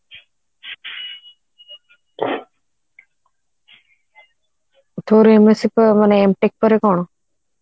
ତୋର MSC ମାନେ M tech ପରେ କଣ